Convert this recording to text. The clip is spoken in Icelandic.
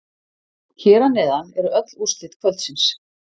Hér að neðan eru öll úrslit kvöldsins.